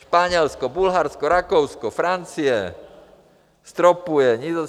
Španělsko, Bulharsko, Rakousko, Francie stropuje.